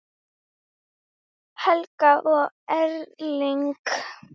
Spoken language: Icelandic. Helga og Erling.